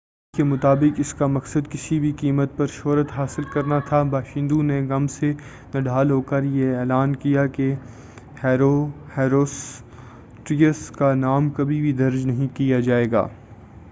کہانی کے مطابق اسکا مقصد کسی بھی قیمت پر شہرت حاصل کرنا تھا باشندوں نے غم سے نڈھال ہوکر یہ اعلان کیا کہ ہیروسٹریٹس کا نام کبھی بھی درج نہیں کیا جائے گا